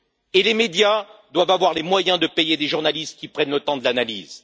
Et les médias doivent avoir les moyens de payer des journalistes qui prennent le temps de l'analyse.